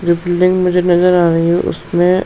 जो बिल्डिंग मुझे नजर आ रही है उसमे --